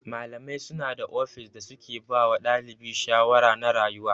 Malamai suna da ofis da suke bawa ɗalibi shawara na rayuwa.